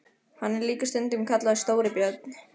Hann er líka stundum kallaður Stóri björn.